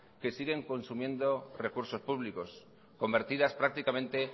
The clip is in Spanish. que siguen consumiendo recursos públicos convertidas prácticamente